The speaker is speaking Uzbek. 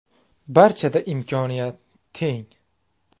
Barchada imkoniyat teng.